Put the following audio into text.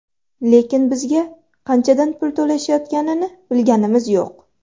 Lekin bizga qanchadan pul to‘lashayotganini bilganimiz yo‘q.